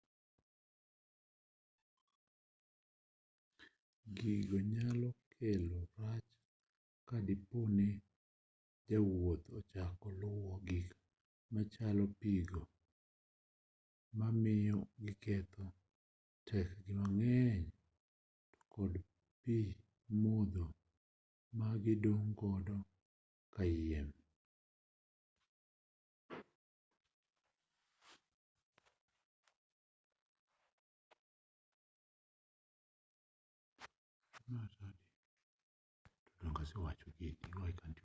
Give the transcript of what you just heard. gigo nyalo kelo rach ka dipo ni jowuoth ochako luwo gik machalo pi go ma miyo giketho tekregi mang'eny to kod pi modho ma gidong' godo kayiem